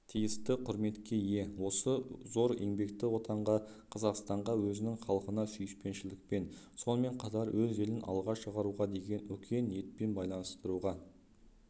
тиісті құрметке ие осы зор еңбекті отанға қазақстанға өзінің халқына сүйіспеншілікпен сонымен қатар өз елін алға шығаруға деген үлкен ниетпен байластыруға